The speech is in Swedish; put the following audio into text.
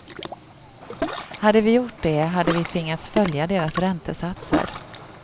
Hade vi gjort det hade vi tvingats följa deras räntesatser.